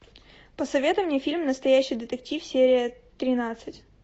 посоветуй мне фильм настоящий детектив серия тринадцать